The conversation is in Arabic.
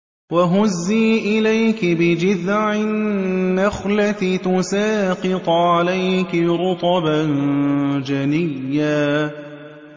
وَهُزِّي إِلَيْكِ بِجِذْعِ النَّخْلَةِ تُسَاقِطْ عَلَيْكِ رُطَبًا جَنِيًّا